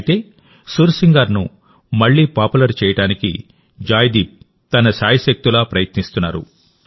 అయితే సుర్ సింగార్ను మళ్లీ పాపులర్ చేయడానికి జాయ్దీప్ తన శాయశక్తులా ప్రయత్నిస్తున్నారు